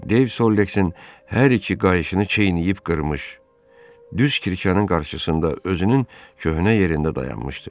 Deyv Solleksin hər iki qayışını çeynəyib qırmış, düz Kirşənin qarşısında özünün köhnə yerində dayanmışdı.